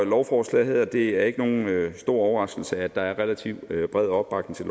lovforslaget det er ikke nogen stor overraskelse at der er en relativt bred opbakning til